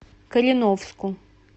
кореновску